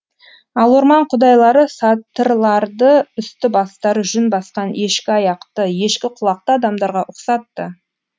ал орман құдайлары сатырларды үсті бастары жүн басқан ешкі аяқты ешкі құлақты адамдарға ұқсатты